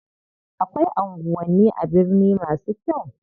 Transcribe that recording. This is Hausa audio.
Akwai anguwanni a birni masu kyau.